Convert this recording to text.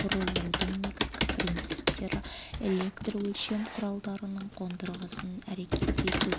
құрылудың негізгі принциптері электрөлшем құралдарының қондырғысын әрекет ету